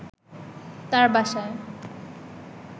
তার বাসায়